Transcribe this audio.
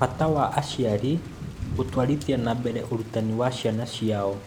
Bata wa Aciari Gũtwarithia na Mbere Ũrutani wa Ciana Ciao